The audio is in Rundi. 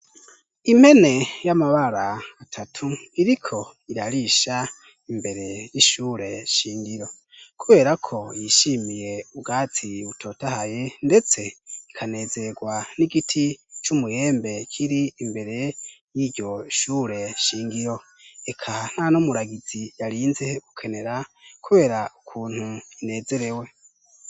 Impne y'amabara atatu iriko irarisha imbere y'ishure shingiro kubera ko yishimiye ubwatsi butotahaye ndetse ikanezegwa n'igiti c'umuyembe kiri imbere y'iryo shure shingiro eka nta n' umuragizi yarinze gukenera kubera ukuntu inezerewe.